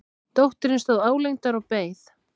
Dóttirin stóð álengdar og beið.